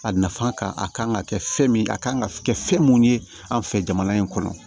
A nafa kan a kan ka kɛ fɛn min ye a kan ka kɛ fɛn mun ye an fɛ jamana in kɔnɔ